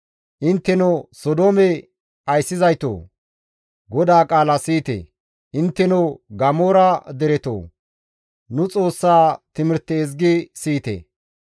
Intteno Sodoome ayssizaytoo! GODAA qaala siyite; intteno Gamoora deretoo! Nu Xoossa timirte ezgi siyite.